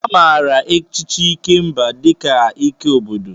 A maara echichi Ikemba dị ka ike obodo.